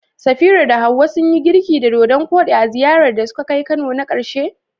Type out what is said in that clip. Safira da Hawwa sun yi girki da dodan koɗi a ziyarar da suka kai Kano na karshe?